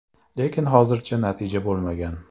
Lekin hozirgacha natija bo‘lmagan.